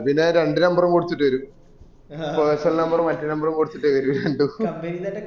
അത് ഞാ രണ്ട് number കൊടുത്തിട്ടേര് personal number മറ്റേ number ഉം കോടതിട്ടവരെ രണ്ടും